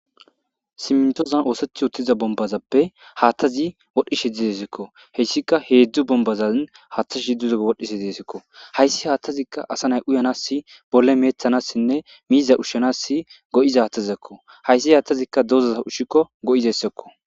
simtozan ooseth uttiza bombazappe haattazi wodhdhishe didesikko heyssika heedzdzu bombazan haaththaz hiddzuzeo wodhishe dziesikko hayssi haattazikka asa nay uyanas bolle meethanassinne miiza ushshanass go7iza haatazzakko hayssi haathtazikka doozaza ushshikko go7izeyssakko